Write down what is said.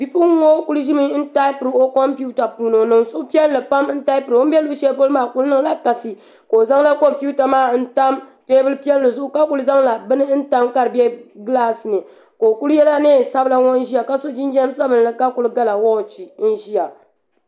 Bipuɣungi ŋo ku ʒimi n taipiri o kompiuta puuni ni o suhupiɛlli pam n taipira o ni bɛ luɣu shɛli polo maa ku niŋla kasi ka o zaŋla kompiuta maa n tam teebuli piɛlli zuɣu ka ku zaŋla bini ka di bɛ gilaas ni ka o kuli yɛla neen sabila ŋo ʒiya ka so jinjɛm sabinli ka kuli gala woochi n ʒiya